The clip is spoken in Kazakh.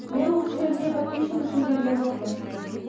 мен осы жерге подписчик үшін келген жоқпын